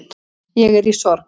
Ég er í sorg